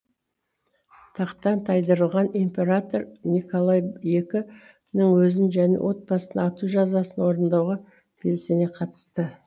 тақтан тайдырылған император николай іі нің өзін және отбасын ату жазасын орындауға белсене қатысты